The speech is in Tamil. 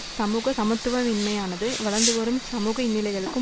சமூக சமத்துவவின்மையானது வளர்ந்துவரும் சமூக இன்னல்களுக்கும்